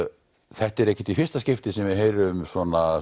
þetta er ekkert í fyrsta skipti sem við heyrum um svona